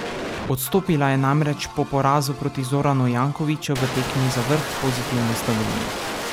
Odstopila je namreč po porazu proti Zoranu Jankoviću v tekmi za vrh Pozitivne Slovenije.